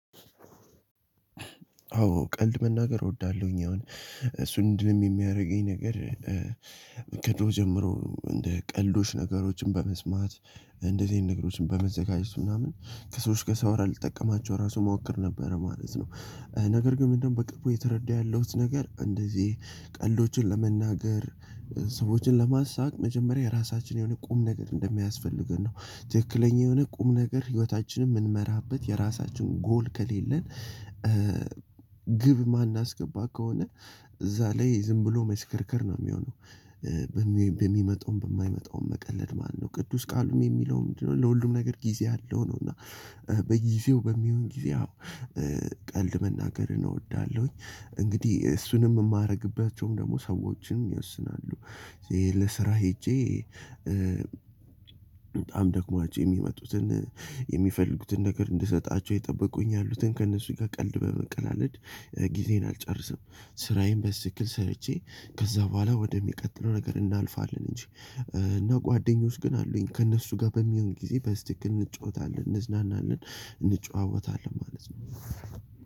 አዎ ቀልድ መናገር እወዳለሁኝ አሁን እሱን እንዲህ የሚያደርገኝ ነገር ከዶር ጀምሮ እንደ ቀልዶች ነገሮችን በመስማት እንደዚህ ነገሮችን በመዘጋጀት ምናምን ከሰዎች ጋር ሳወራ ልጠቀማቸው ራሱ ሞክር ነበረ ማለት ነው። ነገር ግን ምንድነው? በቅርቡ እየተረዳሁት ነገር እንደዚህ ቀልዶችን ለመናገር ሰዎችን ለማሳቅ መጀመሪያ የራሳችን የሆነ ቁም ነገር እንደሚያስፈልገን ነው። ትክክለኛ የሆነ ቁም ነገር ህይወታችንን የምንመራበት የራሳችን ጎል ከሌለን። ግብ ማናስገባ ከሆነ እዛ ላይ ዝም ብሎ መስከርከር ነው የሚሆነው። በሚመጣውም በማይመጣውም መቀለድ ማለት ነው ቅዱስ ቃልም የሚለው ምንድነው? ለሁሉም ነገር ጊዜ አለው ነው። እና በጊዜው በሚሆን ጊዜ። ቀልድ መናገር እወዳለሁኝ። እንግዲህ እሱንም የማደርግባቸውም ደግሞ ሰዎችንም ይወስናሉ። ለስራ ሄጄ በጣም ደክሟቸው የሚመጡትን የሚፈልጉትን ነገር እንድሰጣቸው ይጠብቁኝ ያሉትን ከእነሱ ጋር ቀልድ በመቀላቀል ጊዜን አልጨርስም። ስራዬን በስትክክል ሰርቼ ከዛ በኋላ ወደሚቀጥለው ነገር እናልፋለን እንጂ። እና ጓደኞች ግን አሉኝ ለእነርሱ ጋር በሚሆን ጊዜ በስትክክል እንጫወታለን እንዝናናለን አንጨዋወታለን ማለት ነው።